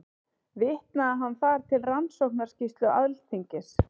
Vitnaði hann þar til Rannsóknarskýrslu Alþingis